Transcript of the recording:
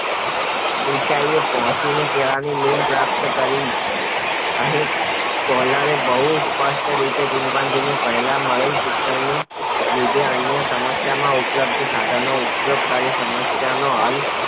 ઉચાયેલી કેળા ની લૂમ પ્રાપ્ત કરી અહીં કોયલાએ ચિમ્પલજીન વિષે બહુ સપષ્ટ પહેલા મળેલી શિક્ષને કારણે લીધે અન્યૂ સમસ્યા માં ઉપલબધ કરી સમસ્યાનો હલ